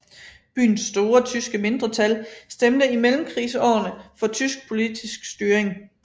Byens store tyske mindretal stemte i mellemkrigsårene for tysk politisk styring